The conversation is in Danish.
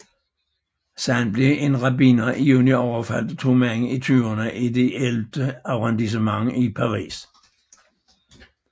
Således blev en rabbiner i juni overfaldet af to mænd i tyverne i det ellevte arrondissement i Paris